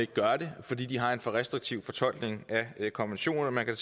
gør det fordi de har en for restriktiv fortolkning af konventionerne man kan